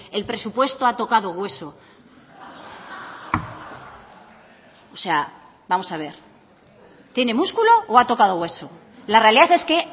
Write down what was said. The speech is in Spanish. el presupuesto ha tocado hueso o sea vamos a ver tiene músculo o ha tocado hueso la realidad es que